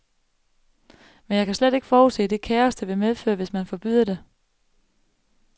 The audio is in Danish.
Men jeg kan slet ikke forudse det kaos, det vil medføre, hvis man forbyder det.